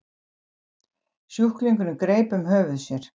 Sjúklingurinn greip um höfuð sér.